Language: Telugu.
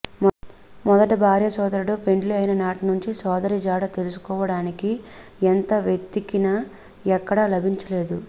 మొదటి భార్య సోదరుడు పెండ్లి అయిన నాటి నుంచి సోదరి జాడ తెలుసుకోవడారనికి ఎంత వేత్తికిన ఎక్కడ లభించాలేదు